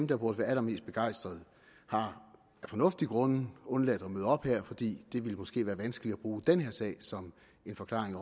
der burde være allermest begejstrede af fornuftige grunde har undladt at møde op her i dag fordi det måske ville være vanskeligt at bruge denne sag som en forklaring